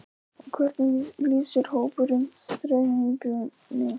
Og hvernig lýsir hópurinn stemningunni?